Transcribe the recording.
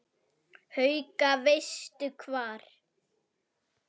Haukur: Veistu hvar?